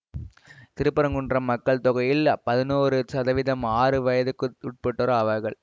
திருப்பரங்குன்றம் மக்கள் தொகையில் பதினோரு சதவிகிதம் ஆறு வயதுக்குட்பட்டோர் ஆவார்கள்